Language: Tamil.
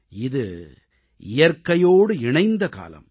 இது இயற்கையோடு இணைந்த காலம்